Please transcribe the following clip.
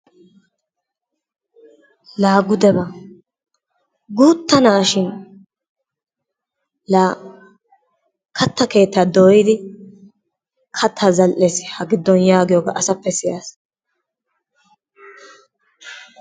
Laa gudeba! Guutta na"a shin laa katta keettaa dooyidi kattaa zal"es ha gidon yaagiyoogaa asappe siyas.